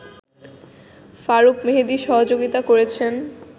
ফারুক মেহেদী সহযোগিতা করেছেন